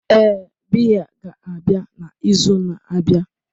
Ee, biya ga-abịa na izu na-abịa